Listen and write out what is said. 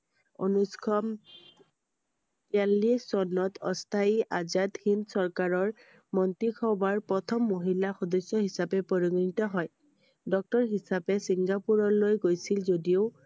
উনৈশ তিৰাল্লিছ চনত অস্থায়ী আজাদ হিন্দ চৰকাৰৰ মন্ত্ৰীসভাৰ প্ৰথম মহিলা সদস্য হিচাপে পৰিগণিত হয় I doctor হিচাপে চিঙ্গাপুৰলৈ গৈছিল যদিও